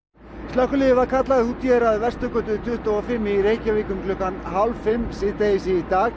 slökkviliðið var kallað út við Vesturgötu tuttugu og fimm í Reykjavík um hálf fimm í dag